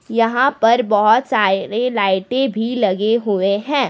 यहां पर बहोत सारे लाइटे भी लगे हुए हैं।